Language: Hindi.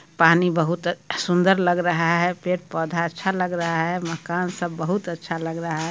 पानी बहुत सुंदर लग रहा है पेड़-पौधा अच्छा लग रहा है मकान सब बहुत अच्छा लग रहा है।